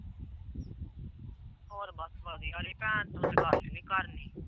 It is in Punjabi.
ਹੋਰ ਬਸ ਵਧੀਆ ਉਹਦੀ ਗੱਲ ਨੀ ਕਰਨੀ।